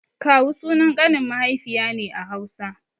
Kawu sunan ƙanin mahaifiya ne a Hausa.